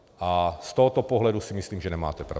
A z tohoto pohledu si myslím, že nemáte pravdu.